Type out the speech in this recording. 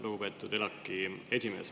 Lugupeetud ELAK‑i esimees!